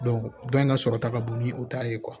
dɔ in ka sɔrɔ ta ka bon ni u ta ye